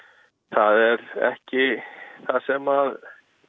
það er ekki það sem